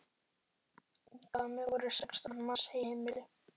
Í Hvammi voru sextán manns í heimili.